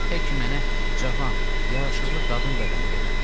Tək ki, mənə cavan, yaraşıqlı qadın bədəni verin.